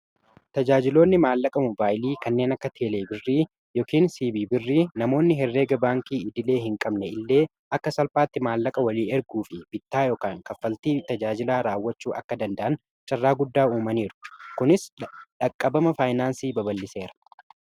tajaajiloonni maallaqa mobaayilii kanneen akka teelee birrii yookiin siibi birrii namoonni herreega baankii idilee hin qabne illee akka salphaatti maallaqa walii erguu fi bittaa yookin kaffaltii tajaajilaa raawwachuu akka danda'an carraa guddaa uumanii jiru. kunis dhaqqabama faayinaansii baba'liseera.